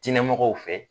Diinɛ mɔgɔw fɛ